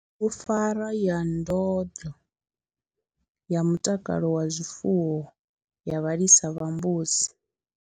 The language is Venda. BUGUPFARWA YA NDONDLO YA MUTAKALO WA ZWIFUWO YA VHALISA VHA MBUDZI.